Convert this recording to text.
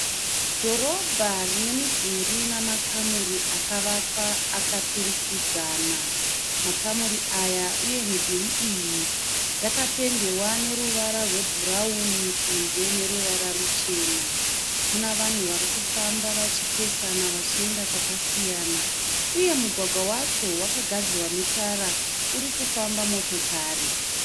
Dhorobha rine midhurii namakamuri akavakwa akaturikidzana. Makamuri aya uye midhuri iyi yakapendewa neruvara rwe bhurauni kunze neruvara ruchena. Muna vanhu vari kufamba vachipesana vachienda kwakasiyana, uye mugwagwa wacho wakagadzirwa netara urikufamba motokari.